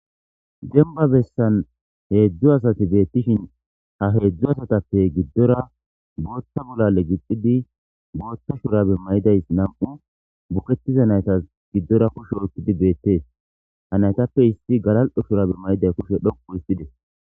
Demba bessan heedzdzu asati beettishin ha heedzdzu asatappe giddora bootta bolale gixidi bootta shurabe may7idays nam7u bukettiza naytas giddora kush oykkidi beettees ha naytappe issi galal7o shurabe may7iday kushe dhoqu isxides.